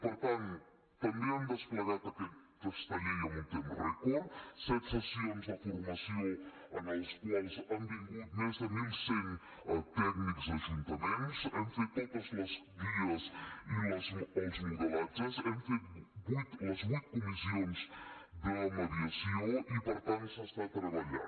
per tant també hem desplegat aquesta llei en un temps rècord set sessions de formació a les quals han vingut més de mil cent tècnics d’ajuntaments hem fet totes les guies i els modelatges hem fet les vuit comissions de mediació i per tant s’està treballant